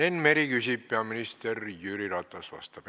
Enn Meri küsib, peaminister Jüri Ratas vastab.